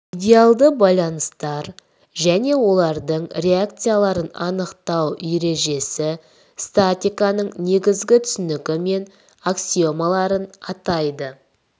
идеалды байланыстар және олардың реакцияларын анықтау ережесі статиканың негізгі түсінігі мен аксиомаларын атайды